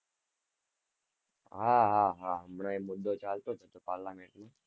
હા હા હા, હમણાં એ મુદ્દો ચાલતો હતો parlament માં